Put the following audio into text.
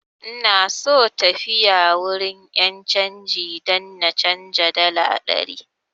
Ina so tafiya wurin 'yan canji don na canza dala ɗari.